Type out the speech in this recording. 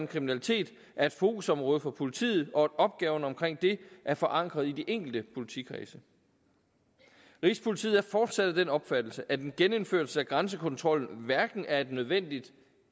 kriminalitet er et fokusområde for politiet og at opgaven omkring det er forankret i de enkelte politikredse rigspolitiet er fortsat af den opfattelse at en genindførelse af grænsekontrollen hverken er et nødvendigt